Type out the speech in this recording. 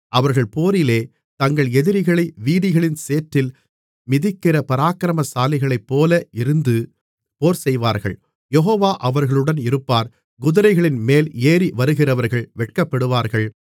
அவர்கள் போரிலே தங்கள் எதிரிகளை வீதிகளின் சேற்றில் மிதிக்கிற பராக்கிரமசாலிகளைப்போல இருந்து போர் செய்வார்கள் யெகோவா அவர்களுடன் இருப்பார் குதிரைகளின்மேல் ஏறிவருகிறவர்கள் வெட்கப்படுவார்கள்